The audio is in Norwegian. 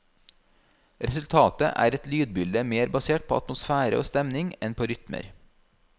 Resultatet er et lydbilde mer basert på atmosfære og stemning enn på rytmer.